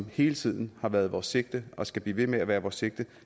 hele tiden har været vores sigte og skal blive ved med at være vores sigte